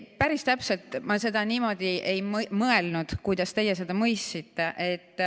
Päris täpselt niimoodi ma seda ei mõelnud, kuidas teie seda mõistsite.